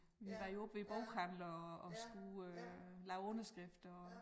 Vi var jo oppe ved æ boghandler og og skrive øh lave underskrifter og